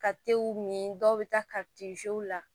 Ka tew min dɔw bɛ taa la